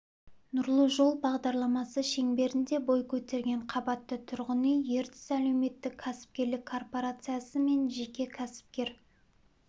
нұрлы жол бағдарламасы шеңберінде бой көтерген қабатты тұрғын үй ертіс әлеуметтік кәсіпкерлік корпорациясы мен жеке кәсіпкер